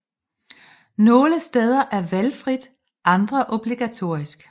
Nogle steder er valgfrit andre obligatorisk